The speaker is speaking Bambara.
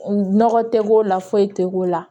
Nɔgɔ tɛ k'o la foyi tɛ k'o la